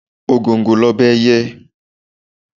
Ògòǹgò l'Ọba ẹyẹ.